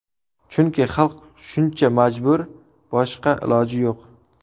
Chunki xalq shuncha majbur, boshqa iloji yo‘q.